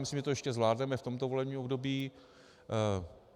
Myslím, že to ještě zvládneme v tomto volebním období.